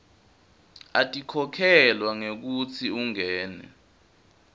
atikhokhelwa ngekutsi ungene